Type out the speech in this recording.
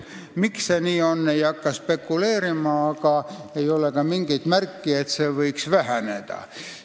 Miks see nii on, ma ei hakka spekuleerima, aga ei ole ka mingeid märke, et see arv võiks väheneda.